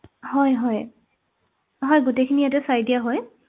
হয় হয় হয় গোটেইখিনি ইয়াতে চাই দিয়া হয়